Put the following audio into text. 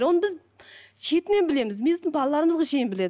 оны біз шетінен білеміз біздің балаларымызға шейін біледі